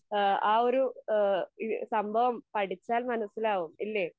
ഈഹ് ആ ഒരു ഈഹ് സംഭവം പഠിച്ചാൽ മനസ്സിലാവും ഇല്ലേ?